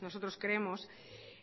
nosotros creemos